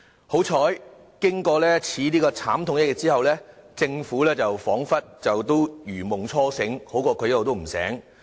幸好，經此慘痛一役後，政府彷彿如夢初醒，這總好過一直也不醒。